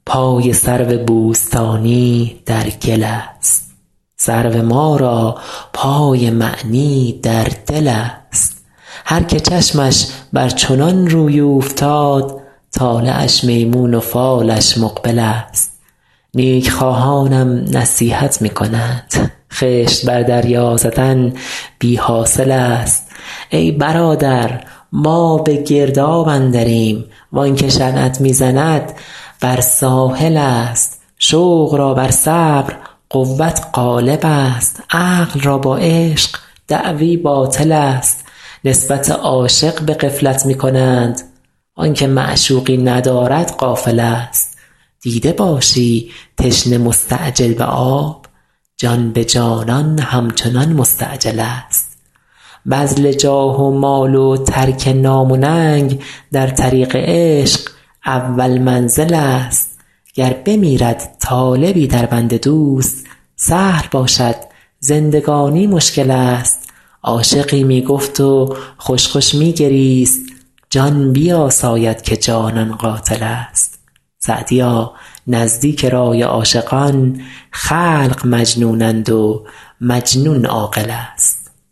پای سرو بوستانی در گل است سرو ما را پای معنی در دل است هر که چشمش بر چنان روی اوفتاد طالعش میمون و فالش مقبل است نیک خواهانم نصیحت می کنند خشت بر دریا زدن بی حاصل است ای برادر ما به گرداب اندریم وان که شنعت می زند بر ساحل است شوق را بر صبر قوت غالب است عقل را با عشق دعوی باطل است نسبت عاشق به غفلت می کنند وآن که معشوقی ندارد غافل است دیده باشی تشنه مستعجل به آب جان به جانان همچنان مستعجل است بذل جاه و مال و ترک نام و ننگ در طریق عشق اول منزل است گر بمیرد طالبی در بند دوست سهل باشد زندگانی مشکل است عاشقی می گفت و خوش خوش می گریست جان بیاساید که جانان قاتل است سعدیا نزدیک رای عاشقان خلق مجنونند و مجنون عاقل است